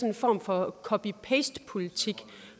en form for copy paste politik